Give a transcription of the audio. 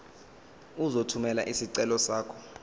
uzothumela isicelo sakho